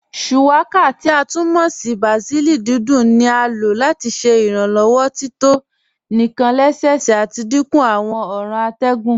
Shuwaka, ti a tún mọ́ ní bàsílì dídùn ní à lọ́ láti ṣẹ́ ìrànlowọ́ tító níkàn lẹ́sẹ́sẹ́ àti dínkú àwọn ọ̀ran àtẹ̀gùn.